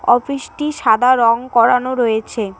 অফিসটি সাদা রঙ করানো রয়েছে।